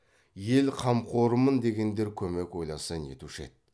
ел қамқорымын дегендер көмек ойласа нетуші еді